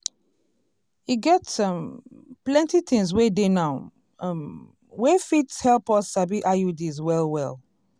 e get um plenty things wey dey now um wey fit help us sabi iuds well well.